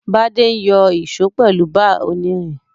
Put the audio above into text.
Bádé n yo ìso pèlu bar onírin